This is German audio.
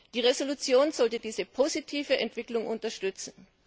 Die Entschließung sollte diese positive Entwicklung unterstützen.